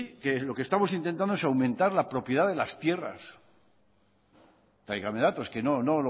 que lo que estamos intentando es aumentar la propiedad de las tierras tráigame datos es que no no